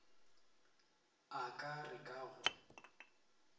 a ka re ka go